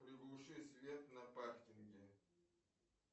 приглуши свет на паркинге